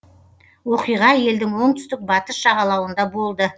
оқиға елдің оңтүстік батыс жағалауында болды